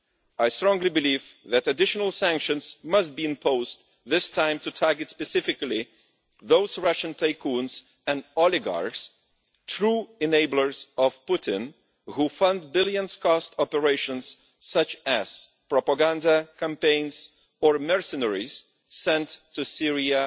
I strongly believe that additional sanctions must be imposed this time to target specifically those Russian tycoons and oligarchs, true enablers of Putin, who fund operations worth billions, such as propaganda campaigns or sending mercenaries to Syria